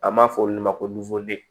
An b'a fɔ olu ma ko